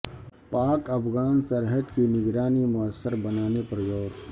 پاک افغان سرحد کی نگرانی موثر بنانے پر غور